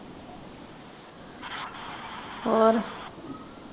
ਹੋਰ।